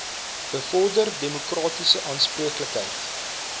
bevorder demokratiese aanspreeklikheid